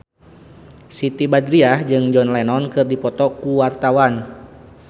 Siti Badriah jeung John Lennon keur dipoto ku wartawan